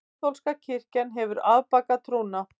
Kaþólska kirkjan hefur afbakað trúna.